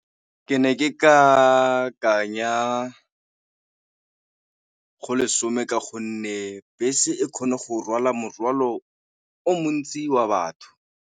Ke ne ke ya go lesome ka gonne bese e kgone go rwala morwalo o montsi wa batho.